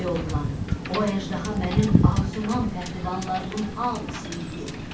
Ey oğlan, o əjdaha mənim arzuman pəhləvanlarımın hamısını yeyib.